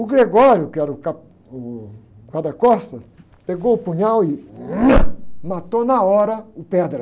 O, que era o cap, o guarda-costas, pegou o punhal e, matou na hora o.